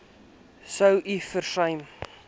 sou u versuim